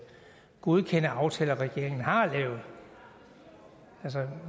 godkende aftaler regeringen har lavet